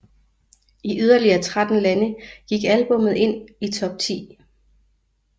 I yderligere 13 lande gik albummet ind i top 10